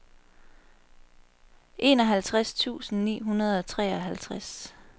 enoghalvtreds tusind ni hundrede og treoghalvtreds